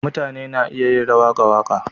Mutane na iya yin rawa ga waka.